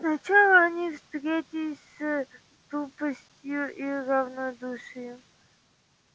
сначала они встретились с тупостью и равнодушием